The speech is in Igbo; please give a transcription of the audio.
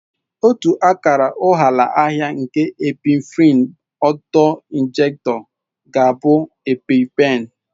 Otu akara ụghalaahịa nke Epinephrine auto-injectors ga-abụ Epi-pen